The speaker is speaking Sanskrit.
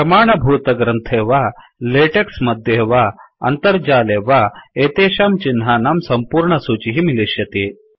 प्रमाणभूतग्रन्थे वा लेटेक्स् मध्ये वा अन्तर्जाले वा एतेषां चिह्नानां सम्पूर्णसूचिः मिलिष्यति